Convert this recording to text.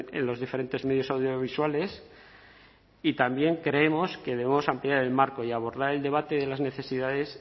en los diferentes medios audiovisuales y también creemos que debemos ampliar el marco y abordar el debate de las necesidades